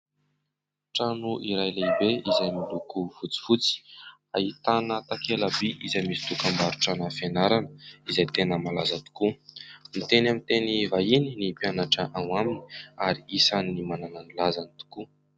Trano iray lehibe izay miloko fotsifotsy ; ahitana takelaby izay misy dokam-barotrana fianarana izay tena malaza tokoa ; miteny amin'ny teny vahiny ny mpianatra ao aminy ary isan'ny manana ny lazany tokoa.